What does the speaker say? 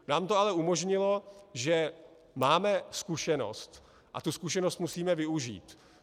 Nám to ale umožnilo, že máme zkušenost, a tu zkušenost musíme využít.